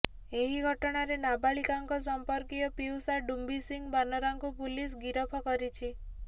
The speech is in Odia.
ଏହି ଘଟଣାରେ ନାବାଳିକାଙ୍କ ସମ୍ପର୍କୀୟ ପିଉସା ଡୁମ୍ୱି ସିଂ ବାନରାକୁ ପୁଲିସ୍ ଗିରଫ କରିଛି